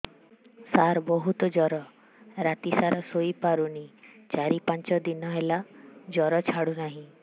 ସାର ବହୁତ ଜର ରାତି ସାରା ଶୋଇପାରୁନି ଚାରି ପାଞ୍ଚ ଦିନ ହେଲା ଜର ଛାଡ଼ୁ ନାହିଁ